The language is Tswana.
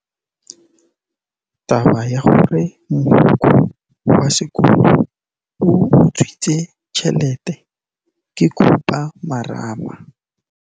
Taba ya gore mogokgo wa sekolo o utswitse tšhelete ke khupamarama.